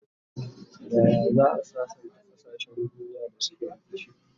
Yaya za'a sassanta kasashen duniya da suke rikici?